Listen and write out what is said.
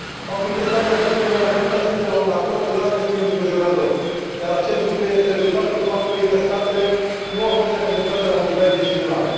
Faptul că statele membre nu au putut ajunge la un acord clar este îngrijorător, dar acest lucru este rezultatul faptului că statele nu au fost reprezentate la un nivel decizional.